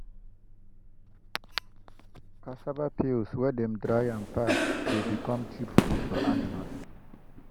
cassava peels wey dem dry and pack dey become cheap food for animals.